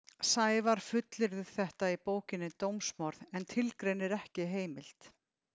Sævar fullyrðir þetta í bókinni Dómsmorð en tilgreinir ekki heimild.